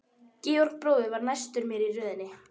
Georg bróðir var næstur mér í röðinni.